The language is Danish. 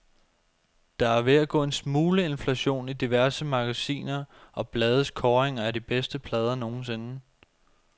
Der er ved at gå en smule inflation i diverse magasiner og blades kåringer af de bedste plader nogensinde.